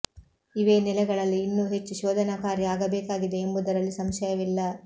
ಇವೇ ನೆಲೆಗಳಲ್ಲಿ ಇನ್ನೂ ಹೆಚ್ಚು ಶೋಧನಾ ಕಾರ್ಯ ಆಗಬೇಕಾಗಿದೆ ಎಂಬುದರಲ್ಲಿ ಸಂಶಯವಿಲ್ಲ